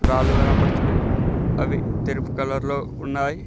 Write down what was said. రాళ్లు కనబడుతున్నాయి అవి తెలుపు కలర్ లో ఉన్నాయి.